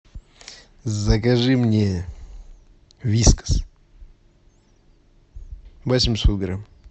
закажи мне вискас восемьсот грамм